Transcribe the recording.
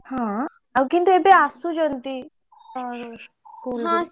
ହଁ ଆଉ କିନ୍ତୁ ଏବେ ଆସୁଛନ୍ତି school କୁ।